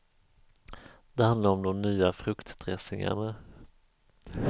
Det handlar om de nya fruktdressingarna.